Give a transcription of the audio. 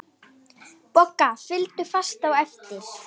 Bogga fylgdu fast á eftir.